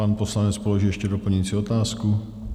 Pan poslanec položí ještě doplňující otázku.